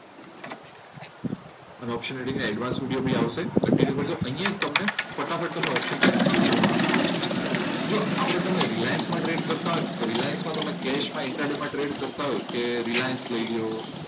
Option trading ના advance video બી આવશે એટલે કંટીન્યુ કરજો અહીંયા એક તમને ફટાફટ ઓપ્શન ટ્રેડિંગ નો નમુનો આપી દઉં. જો આપણે તમે રિલાયન્સમાં ટ્રેડ કરતા હોય ને તો રિલાયન્સ માં કેસમાં ઇન્ટ્રા ડે કરતા હોય કે રિલાયન્સ લઈ લો,